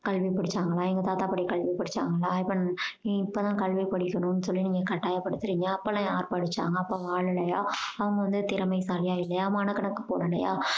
கல்வி படிச்சாங்களா எங்க தாத்தா பாட்டி கல்வி படிச்சாங்களா இப்போ நீ இப்போ தான் கல்வி படிக்கணும் சொல்லி நீ கட்டாயப் படுத்துறீங்க அப்போ எல்லாம் யார் படிச்சாங்க அப்போ வாழலையா அவங்க வந்து திறமைசாலியா இல்லையா மனக்கணக்கு போடலையா